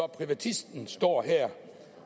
privatisten står her